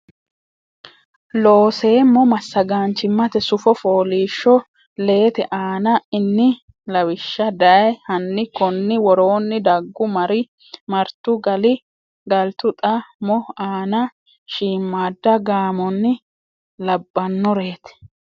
Looseemmo Massagaanchimmate sufo fooliishsho leete aana inni lawishsha dayi hanni konni woroonni daggu mari martu gali galtu xa mo aana shiimmadda gaamonni labbannoreeti.